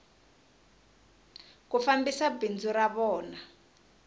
ku fambisa bindzu ra vona